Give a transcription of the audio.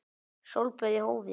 Sólböð í hófi.